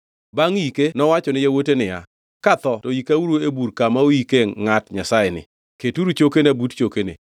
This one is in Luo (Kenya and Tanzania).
Bangʼ yike nowacho ni yawuote niya, “Katho to ikauru e bur kama oyikie ngʼat Nyasayeni; keturu chokena but chokene.